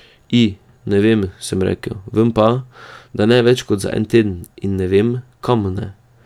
I, ne vem, sem rekel, vem pa, da ne več kot za en teden, in vem, kam ne.